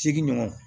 Segi ɲɔgɔn